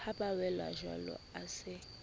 ha ba welajwalo a se